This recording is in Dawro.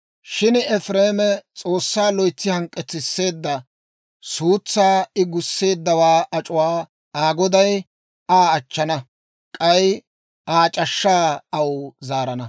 Shin Efireeme S'oossaa loytsi hank'k'etsisseedda; suutsaa I gusseeddawaa ac'uwaa Aa Goday Aa achchana; k'ay Aa c'ashshaa aw zaarana.